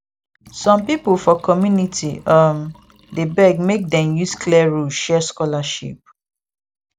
some people for community um dey beg make dem use clear rule share scholarship